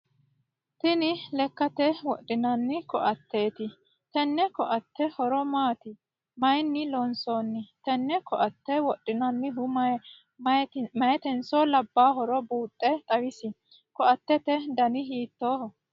Tinni lakkate wodhinnanni koateeti tenne koate horo maati? Mayinni loonsoonni? Tenne koate wodhanohu mayitenso labaahoro buuxe xawisi? Koatete danni hiittooho?